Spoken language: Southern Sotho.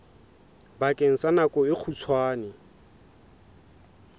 bakeng sa nako e kgutshwane